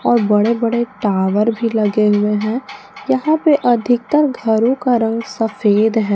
बड़े बड़े टावर भी लगे हुए हैं यहां पे अधिकतर घरों का रंग सफेद है।